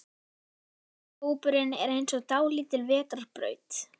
Vinahópurinn er eins og dálítil vetrarbraut.